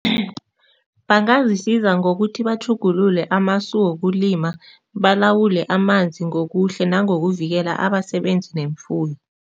Bangazisiza ngokuthi batjhugulule wokulima, balawule amanzi ngokuhle nangokuvikela abasebenzi nemfuyo.